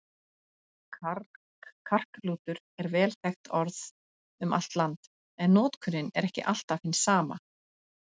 Karklútur er vel þekkt orð um allt land, en notkunin er ekki alltaf hin sama.